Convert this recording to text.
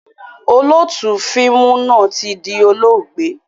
Olóótù fíìmù náà tí di olóògbé